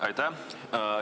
Aitäh!